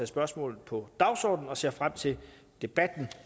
spørgsmålet på dagsordenen og ser frem til debatten